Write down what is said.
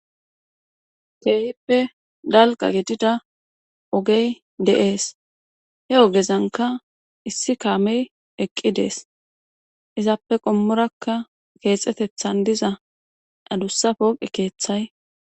Keehippe dalqa gidida ogey de7ees he ogezanka issi kaamey eqqi dees izappe qommurakka keexetethan diza adussa pooqe keeththay